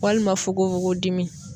Walima fokonfokon dimi.